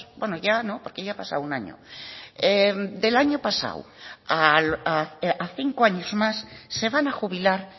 bueno ya no porque ya ha pasado un año del año pasado a cinco años más se van a jubilar